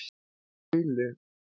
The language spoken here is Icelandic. Baulu